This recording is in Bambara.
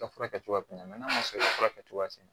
Ka furakɛ cogoya min n'a ma sɔn ka furakɛ cogo tɛ